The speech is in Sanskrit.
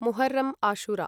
मुहर्रं आशुरा